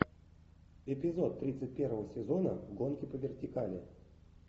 эпизод тридцать первого сезона гонки по вертикали